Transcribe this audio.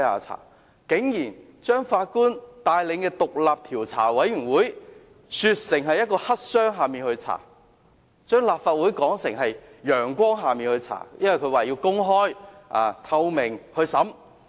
他們竟把法官帶領的獨立調查委員會說成黑箱，將立法會的調查說成是陽光下的調查，因為可以公開透明地調查。